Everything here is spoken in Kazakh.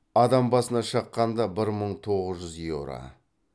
адам басына шаққанда бір мың тоғыз жүз еуро